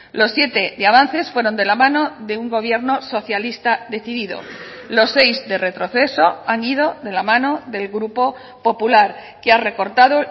los siete de avances fueron de la mano de un gobierno socialista decidido los seis de retroceso han ido de la mano del grupo popular que ha recortado